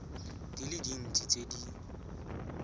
di le dintsi tse di